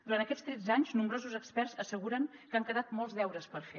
durant aquests tretze anys nombrosos experts asseguren que han quedat molts deures per fer